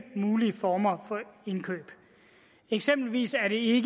mulige former for indkøb eksempelvis er det ikke